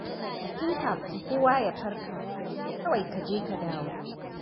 Tun kafin kowa ya farka, kawai ka je ka dawo.